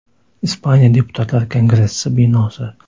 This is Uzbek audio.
Ispaniya Deputatlar kongressi binosi.